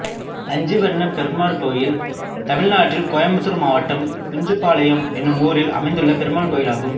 அஞ்சுவண்ணப்பெருமாள் கோயில் தமிழ்நாட்டில் கோயம்புத்தூர் மாவட்டம் குஞ்சுப்பாளையம் என்னும் ஊரில் அமைந்துள்ள பெருமாள் கோயிலாகும்